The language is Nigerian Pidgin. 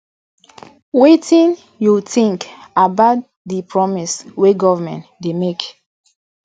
wetin you think about di promises wey government dey make